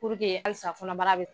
halisa fɔnɔbara be